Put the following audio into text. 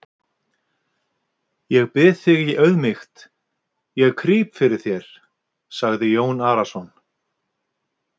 Ég bið þig í auðmýkt, ég krýp þér, sagði Jón Arason.